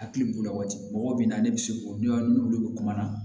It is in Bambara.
Hakili b'o la waati mɔgɔ bina ne bi se k'o dɔn n'olu be kuma na